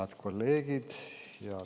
Head kolleegid!